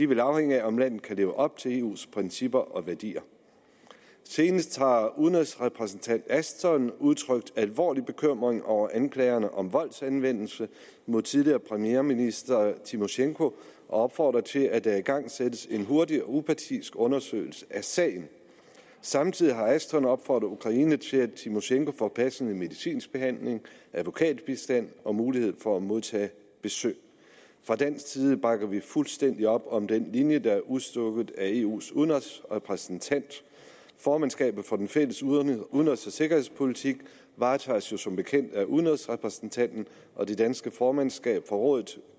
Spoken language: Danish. vil afhænge af om landet kan leve op til eus principper og værdier senest har udenrigsrepræsentant ashton udtrykt alvorlig bekymring over anklagerne om voldsanvendelse mod tidligere premierminister tymosjenko og opfordret til at der igangsættes en hurtig og upartisk undersøgelse af sagen samtidig har ashton opfordret ukraine til at tymosjenko får passende medicinsk behandling advokatbistand og mulighed for at modtage besøg fra dansk side bakker vi fuldstændig op om den linje der er udstukket af eus udenrigsrepræsentant formandskabet for den fælles udenrigs og sikkerhedspolitik varetages jo som bekendt af udenrigsrepræsentanten og det danske formandskab for rådet